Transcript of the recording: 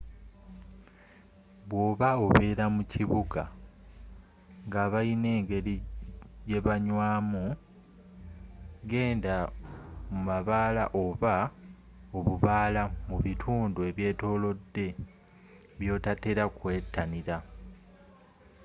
bwoba obeera mu kibuga ngabalina engeri gyebanywamu genda mu mabaala oba obubaala mu bitundu ebyetoolode byotatera kwettanira